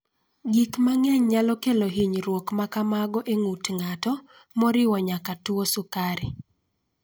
Gik mang�eny nyalo kelo hinyruok ma kamago e ng�ut ng�ato, moriwo nyaka tuo mar sukari.